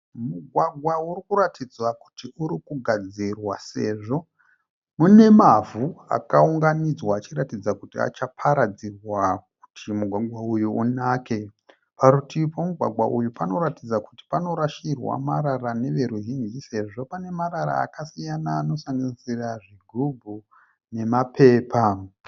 Mugwagwa urikuratidza kuti irikugadzirwa sezvo mune mavhu akaunganidzwa achiratidza kuti achaparadzirwa kuti mugwagwa uyu unake. Parutivi pomugwagwa uyu panoratidza kuti panorasirwa marara neveruzhinji sezvo pane marara akasiyana anosanganisira zvigubhu nemapepa.